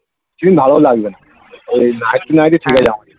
দিন ভালো লাগবে না ওই night to night ঠিকআছে আমাদের